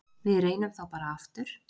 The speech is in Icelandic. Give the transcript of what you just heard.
Við reynum þá bara aftur.